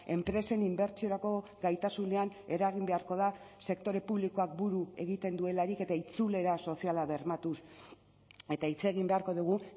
enpresen inbertsiorako gaitasunean eragin beharko da sektore publikoak buru egiten duelarik eta itzulera soziala bermatuz eta hitz egin beharko dugu